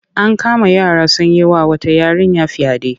An kama yara sun yi wa wata yarinya fyaɗe.